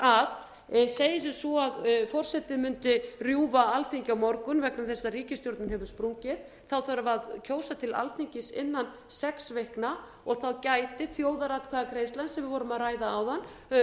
að segjum sem svo að forseti mundi rjúfa alþingi á morgun vegna þess að ríkisstjórninhefur sprungið þarf að kjósa til alþingis innan sex vikna og þá gæti þjóðaratkvæðagreiðslan sem við vorum að ræða áðan